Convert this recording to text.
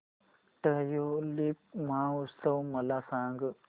tulip महोत्सव मला सांग